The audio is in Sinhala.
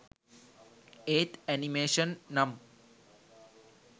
ඒත් ඇනිමේෂන් නම්